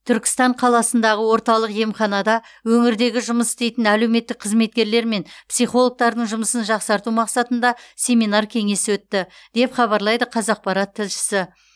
түркістан қаласындағы орталық емханада өңірдегі жұмыс істейтін әлеуметтік қызметкерлер мен психологтардың жұмысын жақсарту мақсатында семинар кеңес өтті деп хабарлайды қазақпарат тілшісі